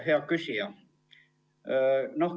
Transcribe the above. Hea küsija!